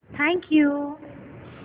thank you